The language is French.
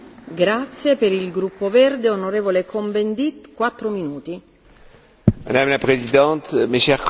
Madame la Présidente, mes chers collègues, j'avoue que je ne sais pas pourquoi j'ai un sentiment bizarre.